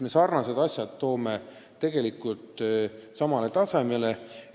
Me toome trahvid sarnaste rikkumiste eest samale tasemele.